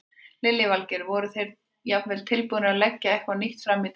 Lillý Valgerður: Þeir voru jafnvel tilbúnir að leggja eitthvað nýtt fram í deilunni?